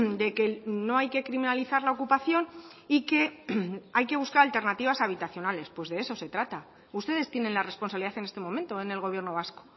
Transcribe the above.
de que no hay que criminalizar la ocupación y que hay que buscar alternativas habitacionales pues de eso se trata ustedes tienen la responsabilidad en este momento en el gobierno vasco